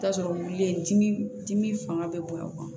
I bi t'a sɔrɔ wuli ye dimi dimi fanga bɛ bonya o kan